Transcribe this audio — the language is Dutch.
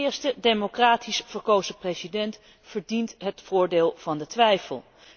De eerste democratisch verkozen president verdient het voordeel van de twijfel.